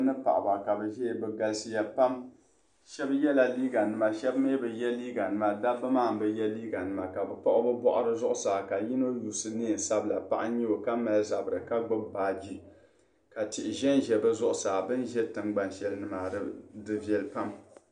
Dabba mini paɣiba ka bɛ ʒia bɛ galisiya pam shɛba yɛla liiganima shɛba mi bi ye liiganima dabba maa m-bi ye liiganima ka kpiɣi bɛ bɔɣiri zuɣusaa ka yino yuusi neen' sabila paɣa n-nyɛ o ka mali zabiri ka gbibi baaji ka tihi zanza bɛ zuɣusaa bɛ ni za tiŋgbani shɛli ni di viɛli pam.